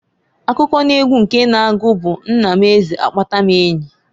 Akụkọ n'egwu nke na-agu bu Nna m Eze akpata m enyi.